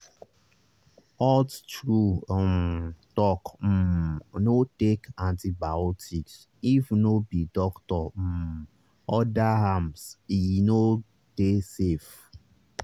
halttrue um talk um no take antibiotics if no be doctor um order ame no dey safe.